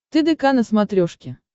тдк на смотрешке